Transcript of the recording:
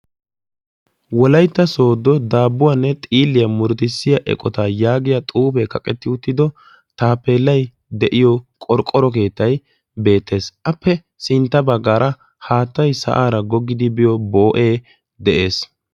wolaytta soodo daabbuwaanne xiiliyaa muridissiya eqotaa yaagiya xuufee kaqetti uttido taapeelay de'iyo qorqqoro keettay beettees appe sintta baggaara haattay sa'aara goggidi biyo boo'ee de'ees